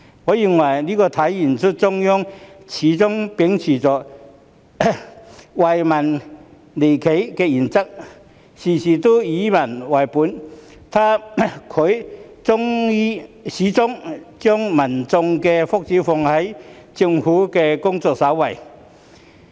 我認為這體現中央始終秉持"惠企利民"原則，事事以民為本，始終將民眾的福祉放在政府的工作首位。